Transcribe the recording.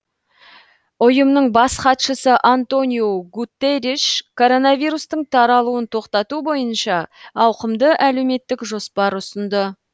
ұйымның бас хатшысы антониу гутерриш коронавирустың таралуын тоқтату бойынша ауқымды әлеуметтік жоспар ұсынды